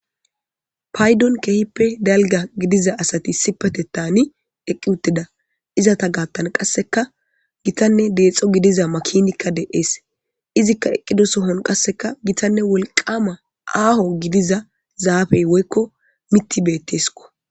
paydon keehippe dalga gidiza asati sipate taani eqqi uttida izata gaattan qasseka gitanne deexxo gidiza makinikka de7ees izikka eqqido sohon qasseka gitanne wolqama aaho gidiza zaafey woykko miti beetteskko